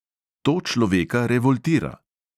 To človeka revoltira.